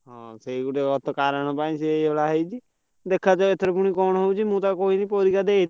ହଁ ସେଇ ଗୋଟିଏ କାରଣ ପାଇଁ ସେଇ ହେଇଛି ଦେଖା ଜୁ ଏଥର ପୁଣି କଣ ହଉଛି ମୁଁ ତାକୁ କହିଲି ପରୀକ୍ଷା ଦେ।